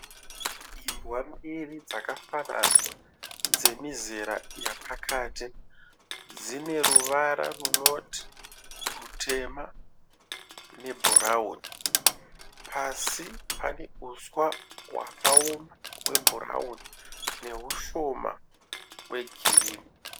Imbwa mbiri dzakafanana dzemizera yapakati dzine ruvara runoti rutema ne bhurauni. Pasi pane uswa hwakaoma hwe bhurauni nehushoma we girinhi.